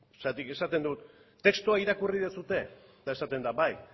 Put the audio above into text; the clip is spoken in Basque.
zergatik esaten dut testua irakurri duzue eta esaten da bai